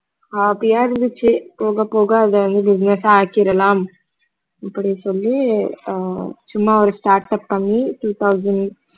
hobby யா இருந்துச்சு போகப் போக அத வந்து business ஆ ஆக்கிடலாம் அப்படின்னு சொல்லி அஹ் சும்மா ஒரு startup பண்ணி two thousand